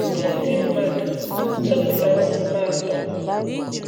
ndị ndị mmadụ zọpụtara ụmụ m atọ.